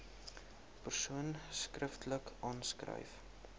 persoon skriftelik aanskryf